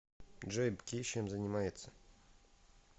джой бки чем занимается